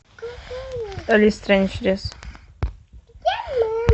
алиса в стране чудес